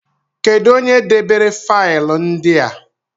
Kedụ onye debere faịlụ ndị a?